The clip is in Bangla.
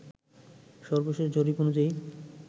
সর্বশেষ জরিপ অনুযায়ী